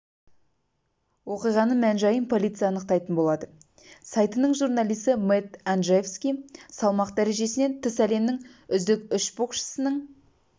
оқиғаның мән-жайын полиция анықтайтын болады сайтының журналисі мэтт анджеевски салмақ дәрежесінен тыс әлемнің үздік үш боксшысының